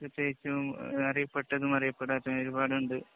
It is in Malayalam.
പ്രത്യേകിച്ചും അറിയപ്പെട്ടതും, അറിയപ്പെടാത്തതുമായ ഒരുപാടുണ്ട്.